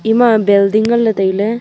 ema building ngan le taile.